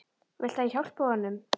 Viltu að ég hjálpi honum?